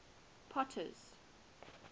potter's